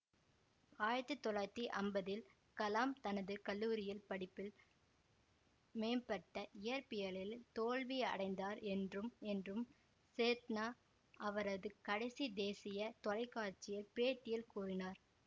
ஆயிரத்தி தொள்ளாயிரத்தி அம்பதில் கலாம் தனது கல்லூரி படிப்பில் மேம்பட்ட இயற்பியலில் தோல்வி அடைந்தார் என்றும் என்றும் சேத்னா அவரது கடைசி தேசிய தொலைக்காட்சிப் பேட்டியில் கூறினார்